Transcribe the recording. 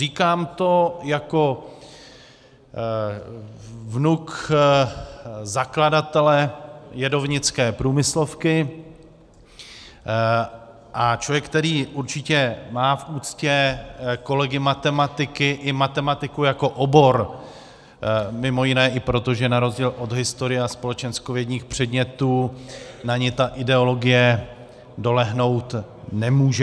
Říkám to jako vnuk zakladatele jedovnické průmyslovky a člověk, který určitě má v úctě kolegy matematiky i matematiku jako obor, mimo jiné i proto, že na rozdíl od historie a společenskovědních předmětů na ni ta ideologie dolehnout nemůže.